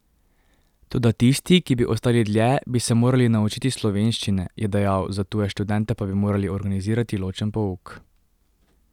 Toda tisti, ki bi ostali dlje, bi se morali naučiti slovenščine, je dejal, za tuje študente pa bi morali organizirati ločen pouk.